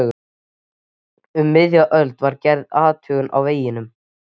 Um miðja öldina var gerð athugun á vegum